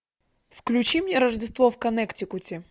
включи мне рождество в коннектикуте